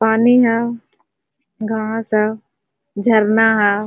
पानी हो घास हो झरना हो।